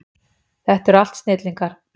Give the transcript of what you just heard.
Þetta eru allt snillingar.